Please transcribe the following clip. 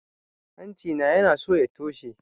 Hanci na yanaso ya toshe